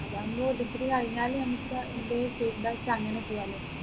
അതാകുമ്പോ degree കഴിഞ്ഞാൽ നമ്മുക്ക് എന്തെല് field നമ്മുക്കങ്ങനെ പോവാലോ